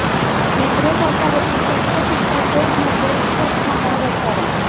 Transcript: विक्रेत्याचा हेतू शक्य तितक्या शोध मध्ये उच्च स्थानावर असावा